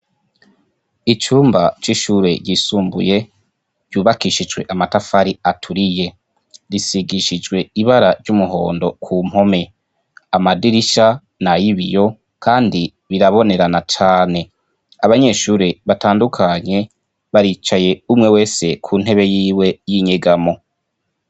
icumba c'ishure ryisumbuye ryubakishijwe amatafari aturiye risigishijwe ibara ry'umuhondo ku mpome, amadirisha nay'ibiyo kandi birabonerana cane. Abanyeshure batandukanye baricaye, umwe wese ku ntebe yiwe y'inyegamo.